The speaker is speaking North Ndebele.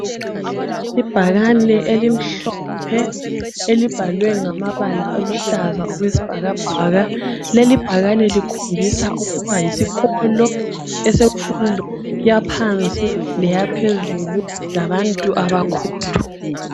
Ibhakane elimhlophe elibhalwe ngamabala aluhlaza okwesibhakabhaka leli bhakane likhombisa ukuba yisikolo esemfundo yaphansi leyaphezulu labantu abakhulu